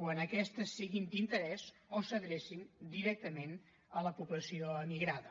quan aquestes siguin d’interès o s’adrecin directament a la població emigrada